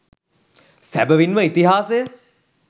සැබැවින් ම ඉතිහාසය